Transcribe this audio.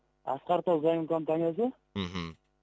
асқар тау заем компаниясы мхм